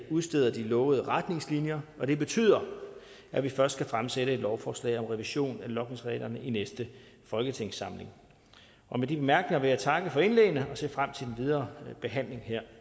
udsteder de lovede retningslinjer det betyder at vi først kan fremsætte et lovforslag om revision af logningsreglerne i næste folketingssamling og med de bemærkninger vil jeg takke for indlæggene og se frem til den videre behandling her